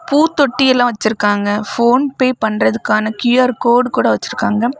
பூத்தொட்டி எல்லாம் வச்சிருக்காங்க PhonePe பண்றதுக்கான கியூ_ஆர் கோடு கூட வச்சிருக்காங்க.